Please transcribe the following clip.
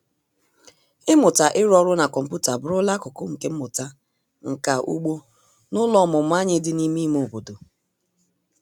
Ịmụta ịrụ ọrụ na kọmputa abụrụla akụkụ nke mmụta nka ugbo n'ụlọ ọmụmụ anyị dị n'ime ime obodo.